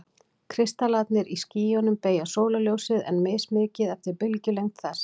Kristallarnir í skýjunum beygja sólarljósið, en mismikið eftir bylgjulengd þess.